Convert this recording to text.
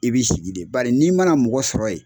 I b'i sigi de bari n'i mana mɔgɔ sɔrɔ yen.